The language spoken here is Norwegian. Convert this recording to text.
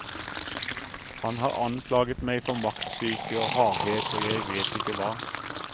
Han har anklaget meg for maktsyke og hardhet og jeg vet ikke hva.